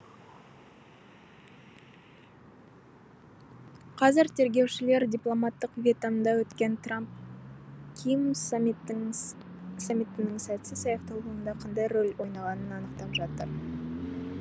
қазір тергеушілер дипломаттық вьетнамда өткен трамп ким саммитінің сәтсіз аяқталуында қандай рөл ойнағанын анықтап жатыр